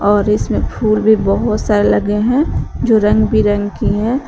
और इसमें फूल भी बहोत सारे लगे हैं जो रंग बिरंग की है।